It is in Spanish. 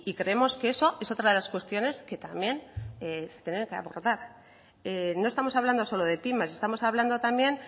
creemos que eso es otra de las cuestiones que también se tienen que abordar no estamos hablando solo de pymes estamos hablando también